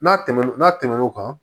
N'a tɛmɛn'o tɛmɛn n'o kan